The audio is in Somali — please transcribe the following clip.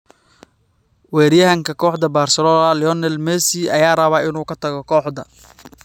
Weeraryahanka kooxda Barcelona Lionel Messi ayaa rabay inuu ka tago kooxda.